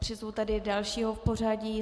Přizvu tedy další ho pořadí.